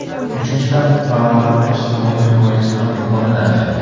Uchinchidan, fuqarolarni ijtimoiy himoyasi ham yuqori daraja.